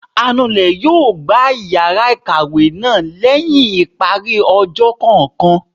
anulè yóò gbá iyara ikáwe náá lẹhin ipári ọjọ kọọkan